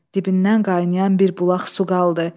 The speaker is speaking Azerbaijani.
Dibindən qaynayan bir bulaq su qaldı.